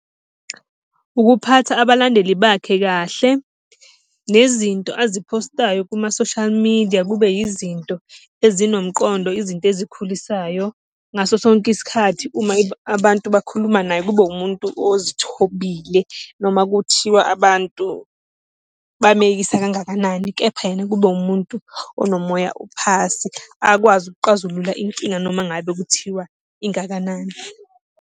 Ukuphatha abalandeli bakhe kahle, nezinto aziphostayo kuma-social media kube yizinto ezinomqondo, izinto ezikhulisayo ngaso sonke isikhathi. Uma abantu bakhuluma naye kube umuntu ozithobile noma kuthiwa abantu bameyisa kangakanani kepha yena kube umuntu onomoya uphasi, akwazi ukuqazulula inkinga noma ngabe kuthiwa ingakanani.